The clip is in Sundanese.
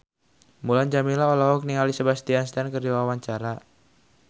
Mulan Jameela olohok ningali Sebastian Stan keur diwawancara